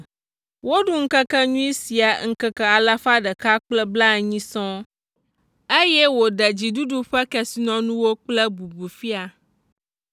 Woɖu ŋkekenyui sia ŋkeke alafa ɖeka kple blaenyi (180) sɔŋ, eye wòɖe dziɖuɖu ƒe kesinɔnuwo kple bubu fia.